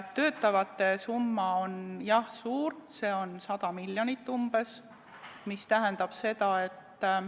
Töötavate pensionäride summa on jah suur, see on umbes 100 miljonit.